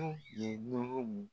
Anw ye